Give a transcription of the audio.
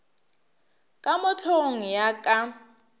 ka mo hlogong ya ka